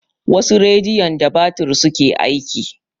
Wasu rediyon da batir suke aiki.